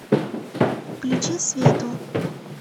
включи свету